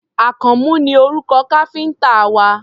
Àkànmú ni orúkọ káfíńtà wa.